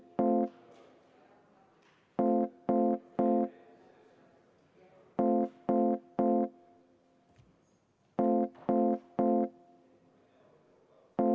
Vabariigi Valitsuse algatatud toiduseaduse muutmise seaduse eelnõu on seadusena vastu võetud.